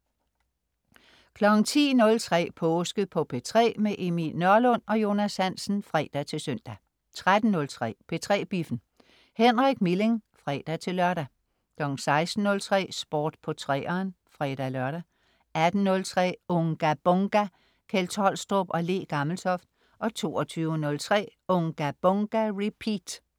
10.03 Påske på P3. Emil Nørlund og Jonas Hansen (fre-søn) 13.03 P3 Biffen. Henrik Milling (fre-lør) 16.03 Sport på 3'eren (fre-lør) 18.03 Unga Bunga! Kjeld Tolstrup og Le Gammeltoft 22.03 Unga Bunga! Repeat